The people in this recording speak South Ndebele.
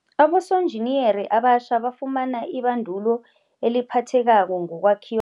Abosonjiniyere abatjha bafumana ibandulo eliphathekako ngokwakhiw